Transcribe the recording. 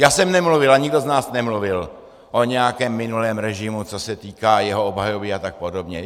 Já jsem nemluvil a nikdo z nás nemluvil o nějakém minulém režimu, co se týká jeho obhajoby a tak podobně.